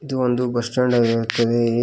ಇದು ಒಂದು bus stand ಆಗಿರುತ್ತದೆ.